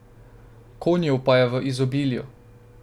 Konjev pa je v izobilju.